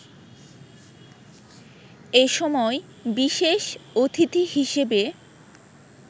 এ সময় বিশেষ অতিথি হিসেবে